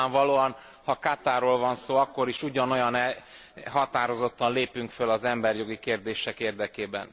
Nyilvánvalóan, ha Katarról van szó, akkor is ugyanolyan határozottan lépünk föl az emberi jogi kérdések érdekében.